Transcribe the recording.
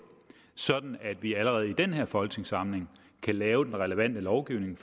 sådan at vi allerede i den her folketingssamling kan lave den relevante lovgivning